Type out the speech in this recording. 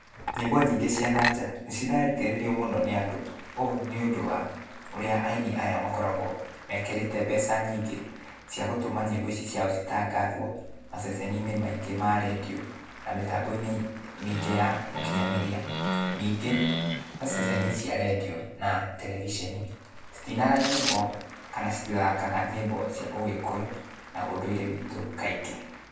Nyĩmbo nyingĩ cia na nja, mũno nĩ andũ. Ũũ nĩũndũ wa, ũrĩa aini aya makoragũo, mekĩrĩte mbeca nyingĩ, cia gũtũma nyĩmbo ici ciao citangathwo, maceceni-inĩ maingĩ ma redio, na mĩtambo-inĩ mĩingĩ ya ũkinyanĩria. Ningĩ, ta ceceni cia redio, na terebiceni, citinaga nyĩmbo kana citithakaga nyĩmbo cia Ũgĩkũyũ, na ũndũire witũ kaingĩ.